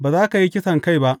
Ba za ka yi kisankai ba.